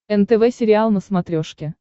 нтв сериал на смотрешке